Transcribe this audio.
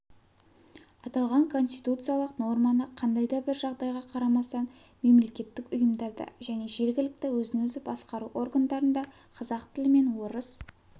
аталған конституциялық норманы қандай да бір жағдайға қарамастан мемлекеттік ұйымдарда және жерглкт өзін-өзі басқару органдарында қазақ тілі мен орыс